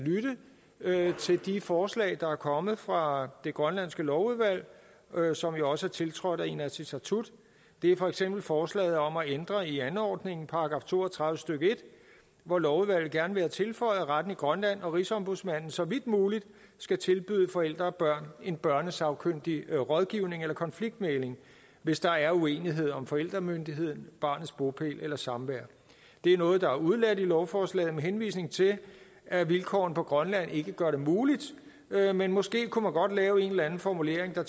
lytte til de forslag der er kommet fra det grønlandske lovudvalg som jo også er tiltrådt af inatsisartut det er for eksempel forslaget om at ændre i anordningen § to og tredive stykke en hvor lovudvalget gerne vil have tilføjet at retten i grønland og rigsombudsmanden så vidt muligt skal tilbyde forældre og børn en børnesagkyndig rådgivning eller konfliktmægling hvis der er uenighed om forældremyndighed barnets bopæl eller samvær det er noget der er udeladt i lovforslaget med henvisning til at vilkårene i grønland ikke gør det muligt men måske kunne man godt lave en eller anden formulering der